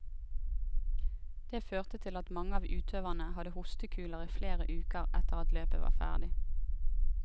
Det førte til at mange av utøverne hadde hostekuler i flere uker etter at løpet var ferdig.